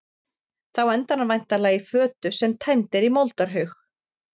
Þá endar hann væntanlega í fötu sem tæmd er í moldarhaug.